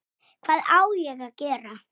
Emil hló.